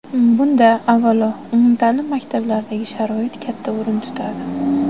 Bunda, avvalo, umumta’lim maktablaridagi sharoit katta o‘rin tutadi.